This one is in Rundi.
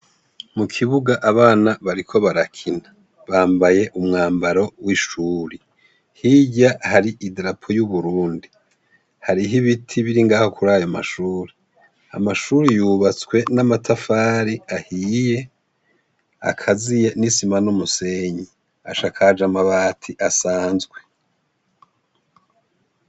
Mukibuga abana bariko barakina bambaye umwambaro wishure hirya hari idarapo yuburundi hariho ibiti biri ngaho kurayo mashure amashure yubatswe namatafari ahiye akaziye nisima numusenyi asakaje amabati asanzwe